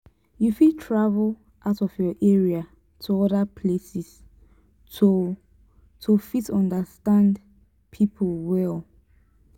you fit travel out of your area to oda places to to fit understand pipo well